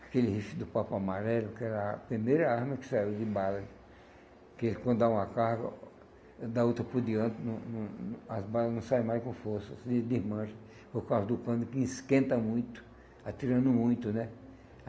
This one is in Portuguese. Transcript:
Aquele rifle do Papa Amarelo, que era a primeira arma que saiu de bala, que quando dá uma carga, dá outra por diante não não, as balas não saem mais com força, se desmancha, por causa do cano que esquenta muito, atirando muito, né?